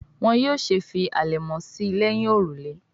Wón yóò ṣe fí alẹmọ sí léhìn òrùlé.